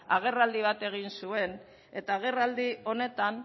agerraldi bat egin zuen eta agerraldi honetan